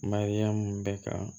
Mariyamu bɛ ka